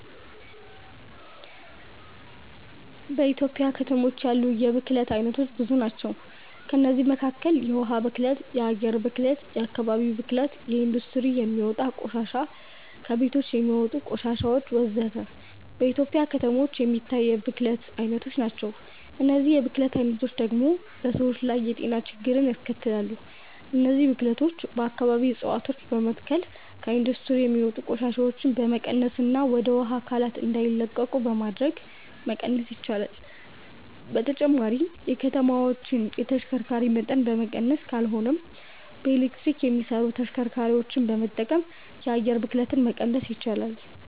በኢትዮጵያ ከተሞች ያሉ የብክለት አይነቶች ብዙ ናቸው። ከእነዚህም መካከል የውሃ ብክለት፣ የአየር ብክለት፣ የአከባቢ ብክለት፣ ከኢንዱስትሪ የሚወጣ ቆሻሻ፣ ከቤቶች የሚወጣ ቆሻሾች ወዘተ። በኢትዮጵያ ከተሞች የሚታይ የብክለት አይነቶች ናቸው። እነዚህ የብክለት አይነቶች ደግሞ በሰዎች ላይ የጤና ችግሮችን ያስከትላሉ። እነዚህን ብክለቶች በአከባቢ እፀዋቶችን በመትከል፣ ከኢንዱስትሪ የሚወጡ ቆሻሻዎችን በመቀነስና ወደ ውሃ አካላት እንዳይለቁ በማድረግ መቀነስ ይቻላል። በተጨማሪም የከተማዎችን የተሽከርካሪ መጠን በመቀነስ ካልሆነም በኤሌክትሪክ የሚሰሩ ተሽከርካሪዎችን በመጠቀም የአየር ብክለትን መቀነስ ይቻላል።